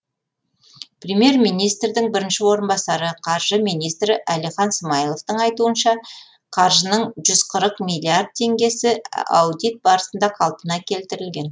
премьер министрдің бірінші орынбасары қаржы министрі әлихан смайыловтың айтуынша қаржының жүз қырық миллиард теңгесі аудит барысында қалпына келтірілген